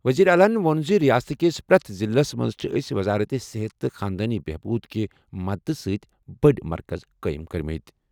وزیر اعلیٰ ووٚن زِ رِیاست کِس پرٛٮ۪تھ ضِلعس منٛز چھِ أسۍ وزارت صحت تہٕ خاندٲنی بہبود کہِ مدتہٕ سۭتۍ بٔڑۍ مرکز قٲیِم کٔرمٕتۍ۔